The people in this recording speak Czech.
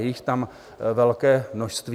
Je jich tam velké množství.